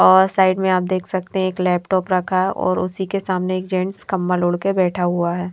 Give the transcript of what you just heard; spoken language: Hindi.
और साइड में आप देख सकते हैं एक लैपटॉप रखा है और उसी के सामने एक जेंट्स कंमल उड़ के बैठा हुआ है।